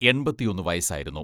എൺപത്തിയൊന്ന് വയസ്സായിരുന്നു.